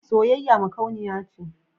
Soyayya makauniya ce.